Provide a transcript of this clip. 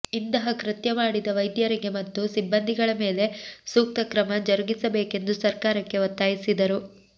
ಇಂತಹ ಕೃತ್ಯ ಮಾಡಿದ ವೈದ್ಯರಿಗೆ ಮತ್ತು ಸಿಬ್ಬಂದಿಗಳ ಮೇಲೆ ಸೂಕ್ತ ಕ್ರಮ ಜರುಗಿಸಬೇಕೆಂದು ಸರ್ಕಾರಕ್ಕೆ ಒತ್ತಾಯಿಸಿದರು